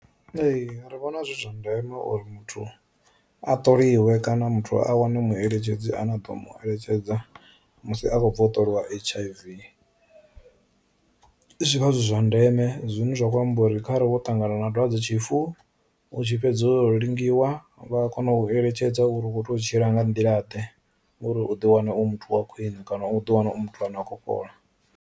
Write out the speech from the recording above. Ee ri vhona zwi zwa ndeme uri muthu a tholiwe kana muthu a wane mueletshedzi ane a ḓo mu eletshedza musi a khou khotroliwa hiv, zwivha zwi zwa zwine zwa khou amba uri khare vho ṱangana na dwadzetshifu u tshi fhedza u lingiwa, vha kona u eletshedza uri u kho tea u tshila nga nḓila ḓe uri u ḓi wana u muthu wa khwiṋe kana u ḓi wana u muthu ane a kho fhola.